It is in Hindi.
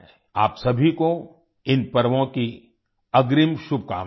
आप सभी को इन पर्वों की अग्रिम शुभकामनायें